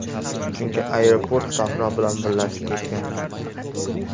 Chunki, aeroport sahro bilan birlashib ketgan.